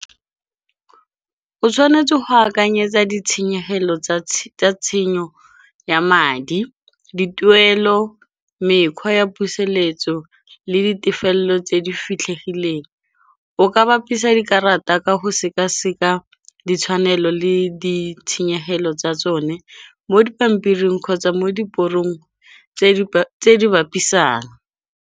O tshwanetse go akanyetsa ditshenyegelo tsa tshenyo ya madi dituelo mekgwa ya puseletso le ditefelelo tse di fitlhegileng o ka bapisa dikarata ka go seka seka ditshwanelo le ditshenyegelo tsa tsone mo di pampiring kgotsa mo tse di bapisang.